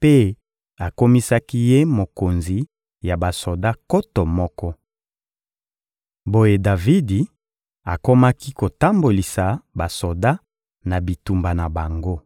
mpe akomisaki ye mokonzi ya basoda nkoto moko. Boye Davidi akomaki kotambolisa basoda na bitumba na bango.